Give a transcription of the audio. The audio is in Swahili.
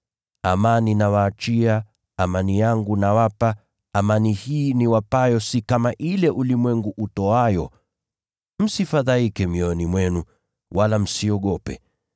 Amani nawaachia, amani yangu nawapa, amani hii niwapayo si kama ile ulimwengu utoayo. Msifadhaike mioyoni mwenu, wala msiogope.